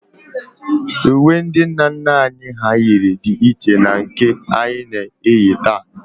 Uwe ndị nna nna anyị hà yiri dị iche na nke anyị na-eyi taa